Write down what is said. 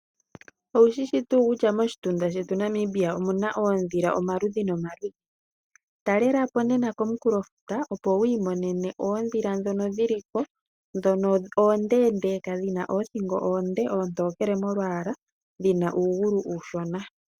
Oushishi tuu kutya moshitunda shetu omuna oondhila omaludhi nomaludhi. Talelapo nena komunkulofuta opo wiimonene oondhila ndhono dhili ko oondeendeka dhina oothingo oonde oontokele molwaala dhina uugulu uushona.